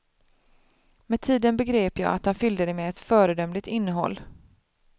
Med tiden begrep jag att han fyllde det med ett föredömligt innehåll.